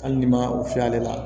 Hali ni ma o fiyɛ ale la